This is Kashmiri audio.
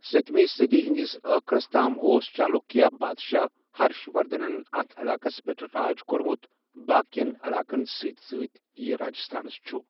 سٔتمہِ صٔدی ہندِس ٲخرس تام اوس چالوكِیا بادشاہ ہَرٕش وَردھنَن اتھ علاقس پیٹھ راج كورمُت باقیٮَ۪ن عَلاقَن سۭتۍ سۭتِۍ یہِ راجستھانَس چھُ۔